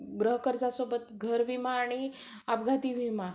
घर कर्जासोबत घर विमा आणि अपघाती विमा